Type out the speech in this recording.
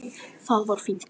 Það var fínt.